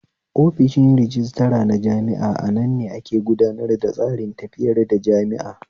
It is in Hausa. Offishi rajistira na jami'a anan ne ake gudanar tsarin tafiyar da jami'a